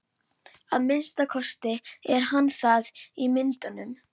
Að minnsta kosti er hann það í myndunum.